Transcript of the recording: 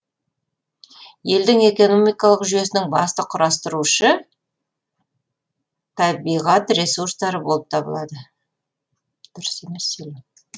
елдің экономикалық жүйесінің басты құрастырушы табиғат ресурстары болып табылады